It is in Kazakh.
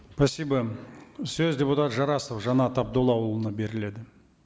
спасибо сөз депутат жарасов жанат абдуллаұлына беріледі